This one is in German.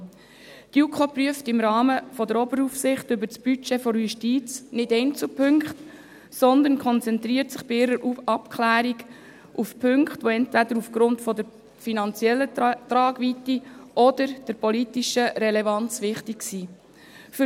Die JuKo prüft im Rahmen der Oberaufsicht über das Budget der Justiz nicht Einzelpunkte, sondern konzentriert sich bei ihren Abklärungen auf Punkte, die entweder aufgrund der finanziellen Tragweite oder der politischen Relevanz wichtig sind.